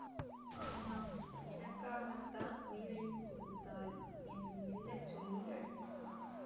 ஆமாம் எனக்காகத்தான் உயிரையும் கொடுத்தாள் என்று மெல்ல சொல்லி அடங்கினான்